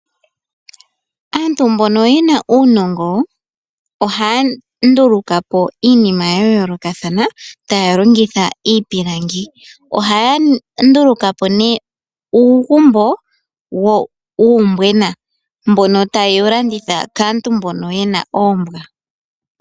Aantu mbono yena uunongo ohaya ndulukapo iinima ya yoolokathana taya longitha iipilangi. Ohaya ndulukapo nee uugumbo wuumbwena mbono tayewu landitha kaantu mbono yena oombwa.